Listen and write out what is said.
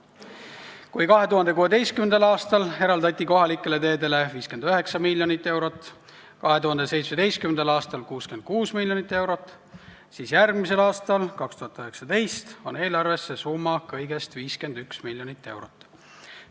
Kui 2016. aastal eraldati kohalikele teedele 59 miljonit eurot, 2017. aastal 66 miljonit eurot, siis järgmisel aastal on eelarves see summa kõigest 51 miljonit eurot.